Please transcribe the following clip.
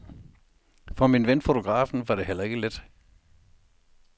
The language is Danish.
For min ven, fotografen, var det heller ikke let.